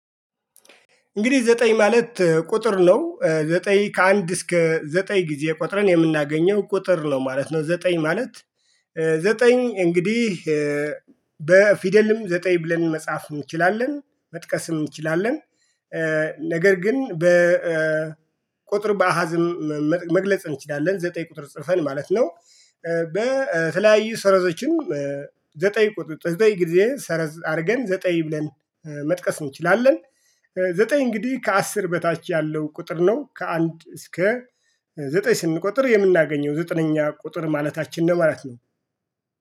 እንግዲህ ዘጠኝ ማለት ቁጥር ነው ዘጠኝ ከአንድ እስከ ዘጠኝ ጊዜ ቆጠረን የምናገኘው ቁጥር ነው ማለት ነው። ዘጠኝ ማለት ዘጠኝ እንግዲህ። በፊደልም ዘጠኝ ብለን መጽሐፍ እንችላለን መጥቀስ እንችላለን። ነገር ግን በቁጥር በአሃዝም መግለጽ እንችላለን ዘጠኝ ቁጥር ጽፈን ማለት ነው። በተለያዩ ሰረዘችን ዘጠኝ ጊዜ ሰረዝ አርገን ዘጠኝ ብለን መጥቀስ እንችላለን። ዘጠኝ እንግዲህ ከአስር በታች ያለው ቁጥር ነው። ከአንድ እስከ ዘጠኝ ስንቆጥር የምናገኘው ዘጠነኛ ቁጥር ማለታችን ነው ማለት ነው